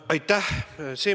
Aitäh!